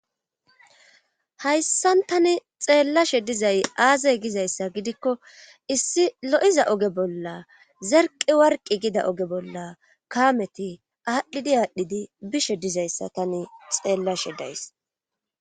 Hayssan tani xeellashe dizay aazay gizayssa gidikko issi lo7iza oge bolla zerqi warqi gida oge bolla kaameti aadhdhidi aadhdhidi bishe dizayssa tani xeellashe days